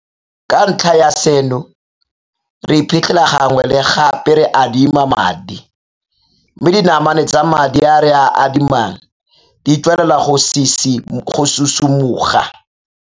Ka ntlha ya seno, re iphitlhela gangwe le gape re adima madi, mme dinamane tsa madi a re a adimang di tswelela go susu moga.